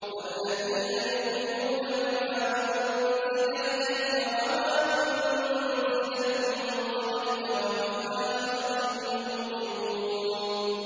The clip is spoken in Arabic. وَالَّذِينَ يُؤْمِنُونَ بِمَا أُنزِلَ إِلَيْكَ وَمَا أُنزِلَ مِن قَبْلِكَ وَبِالْآخِرَةِ هُمْ يُوقِنُونَ